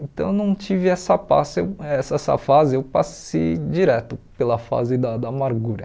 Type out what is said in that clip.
Então eu não tive essa passe eh essa essa fase, eu passei direto pela fase da da amargura.